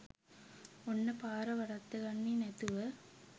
ඔන්න පාර වරද්දගන්නේ නැතුව